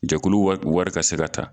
Jakulu wari ka se ka ta